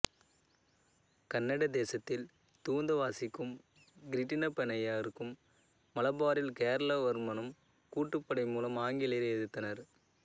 கன்னட தேசத்தில் தூந்தாசிவாக்கும் கிருட்டிணப்பநாயக்கரும் மலபாரில் கேரளவர்மனும் கூட்டுப்படை மூலம் ஆங்கிலேயரை எதிர்த்தனர்